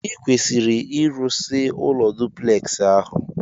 Ikwesiri irụsi ụlọ duplex ahu!!